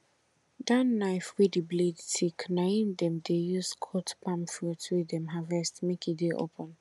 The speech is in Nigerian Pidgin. that knife wey the blade thick na em dem dey use cut palm fruit wey dem harvest make em dey open